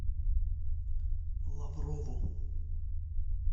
лаврову